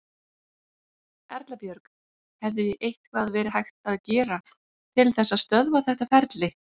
Erla Björg: Hefði eitthvað verið hægt að gera til þess að stöðva þetta ferli?